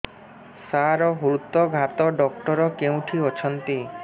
ସାର ହୃଦଘାତ ଡକ୍ଟର କେଉଁଠି ଅଛନ୍ତି